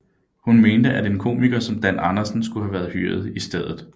Hun mente at en komiker som Dan Andersen skulle være hyret i stedet for